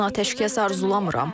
Mən atəşkəs arzulamıram.